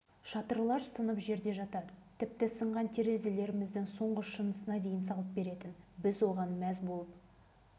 арада жарты сағат өтісімен солдаттар жетіп келеді де әлгі жерді дереу ретке келтіреді